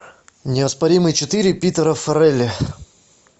неоспоримый четыре питера фаррелли